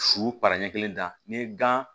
Su para ɲɛ kelen dan ni gan